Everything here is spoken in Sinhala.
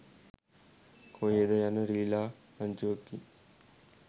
කොහේද යන රිළා රංචුවකින්